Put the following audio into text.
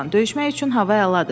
döyüşmək üçün hava əladır.